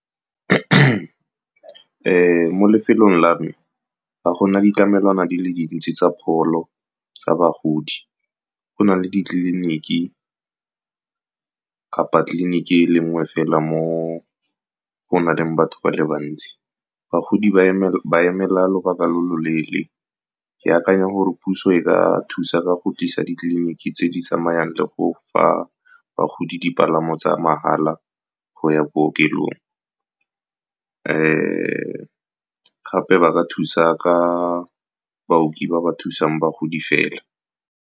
Mo lefelong la me ba gona ditlamelwana di le dintsi tsa pholo tsa bagodi, go na le ditleliniki kapa tleliniki e le nngwe fela, mo go na leng batho ba le bantsi bagodi ba emela lobaka lo lo leele. Ke akanya gore puso e ka thusa ka go tlisa ditleliniki tse di tsamayang le go fa bagodi dipalamo tsa mahala go ya bookelong. Gape ba ka thusa ka baoki ba ba thusang bagodi fela.